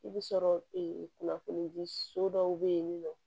I bɛ sɔrɔ kunnafoni di so dɔw bɛ yen nɔ